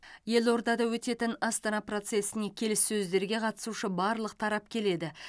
елордада өтетін астана процесіне келіссөздерге қатысушы барлық тарап келеді